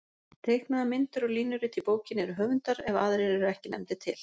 Teiknaðar myndir og línurit í bókinni eru höfundar ef aðrir eru ekki nefndir til.